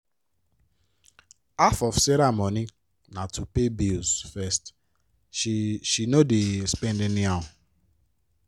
half of sarah money na to pay bill first she she no dey spend any how.